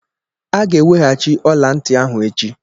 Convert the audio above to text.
A ga-eweghachi ọla ntị ahụ echi.